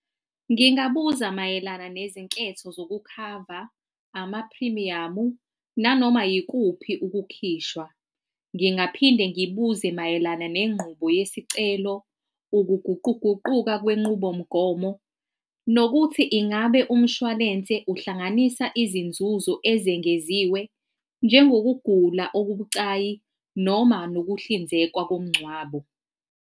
Ngingabuza mayelana nezinketho zokukhava amaphrimiyamu nanoma yikuphi ukukhishwa, ngingaphinde ngibuze mayelana nengqubo yesicelo, ukuguquguquka kwenqubomgomo, nokuthi ingabe umshwalense uhlanganisa izinzuzo ezengeziwe njengokugula okubucayi, noma nokuhlinzekwa komngcwabo.